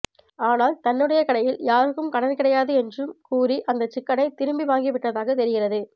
ஆனால் தன்னுடைய கடையில் யாருக்கும் கடன் கிடையாது என்றும் கூறி அந்த சிக்கனை திருப்பி வாங்கி விட்டதாக தெரிகிறது